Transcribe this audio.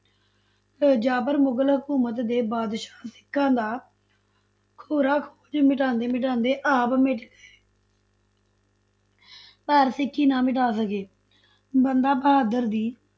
ਤੇ ਜ਼ਾਬਰ ਮੁਗਲ ਹਕੂਮਤ ਦੇ ਬਾਦਸ਼ਾਹ ਸਿੱਖਾਂ ਦਾ ਖੁਰਾ ਖੂਚ ਮਿਟਾਉਂਦੇ ਮਿਟਾਉਂਦੇ ਆਪ ਮਿਟ ਗਏ ਪਰ ਸਿੱਖੀ ਨਾ ਮਿਟਾ ਸਕੇ, ਬੰਦਾ ਬਹਾਦਰ ਜੀ,